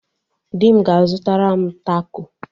Di m ga-azụtara m tako.